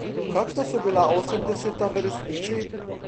Kakšna so bila osemdeseta v resnici?